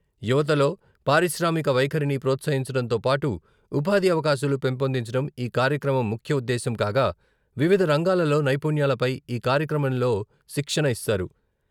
యువతలో పారిశ్రామిక వైఖరిని ప్రోత్సహించడంతో పాటు ఉపాధి అవకాశాలు పెంపొందించడం ఈ కార్యక్రమం ముఖ్య ఉద్దేశ్యం కాగా వివిధ రంగాలలో నైపుణ్యాలపై ఈ కార్యక్రమంలో శిక్షణ ఇస్తారు.